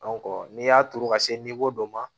n'i y'a turu ka se dɔ ma